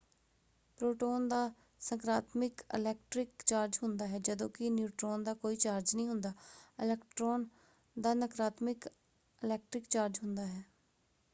Proton ਦਾ ਸਕਾਰਾਤਮਕ electric charge ਹੁੰਦਾ ਹੈ ਜਦੋਂ ਕਿ ਨਿਊਟ੍ਰੋਨ ਦਾ ਕੋਈ ਚਾਰਜ ਨਹੀਂ ਹੁੰਦਾ। ਇਲੈਕਟ੍ਰਾਨ ਦਾ ਨਕਾਰਾਤਮਕ ਇਲੈਕਟ੍ਰਿਕ ਚਾਰਜ ਹੁੰਦਾ ਹੈ।